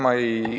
Aitäh!